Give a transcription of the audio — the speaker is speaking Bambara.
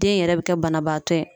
Den yɛrɛ bɛ kɛ banabaatɔ ye.